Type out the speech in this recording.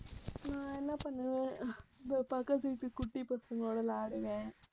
நான் என்ன பண்ணுவேன்? இதோ பக்கத்து வீட்டு குட்டி பசங்களோட விளையாடுவேன்.